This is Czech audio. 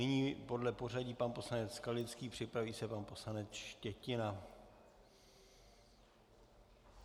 Nyní podle pořadí pan poslanec Skalický, připraví se pan poslanec Štětina.